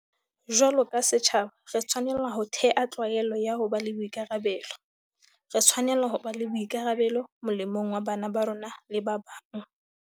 Jwalo ka setjhaba, re tshwanela ho thea tlwaelo ya ho ba le boikarabelo. Re tshwanela ho ba le bo ikarabelo, molemong wa bana ba rona le ba bang.